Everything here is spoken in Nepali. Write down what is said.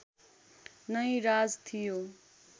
नै राज थियो